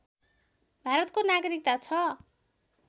भारतको नागरिकता छ